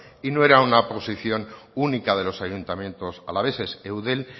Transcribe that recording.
y no era una posición única de los ayuntamientos alaveses eudel